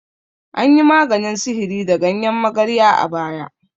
Anyi maganin sihiri da ganyen magarya a baya.